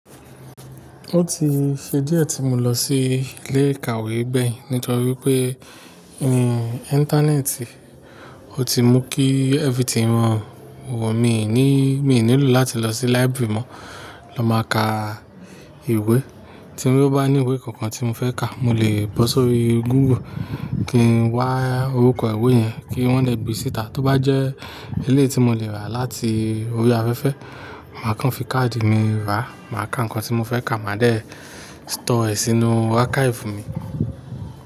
Ó ti ṣe díẹ̀ tí mo lọ sí ilé ìkàwé gbẹyin, nítorí pé, ińtánẹ́ẹ̀tì, ó ti mú kí everything rọrùn. Wò, mi ò ní, mi ò nílò láti lọ sí library mọ́, lọ máa ka ìwé. Tí mo bá ní ìwé kankan tí mo fẹ́ ka, mo lè bọ́ sórí Google kí n wá orúkọ ìwé yẹn, kí wọ́n lè gbe síta. Tóbá jẹ́ eléyìí tí mo lè rà láti orí afẹ́fẹ́, màá kàn fi káàdì mi rà, màá ká nǹkan tí mo fẹ́ kà, màá déẹ̀ ṣtọ̀ọ́ ẹ sínú archive mi.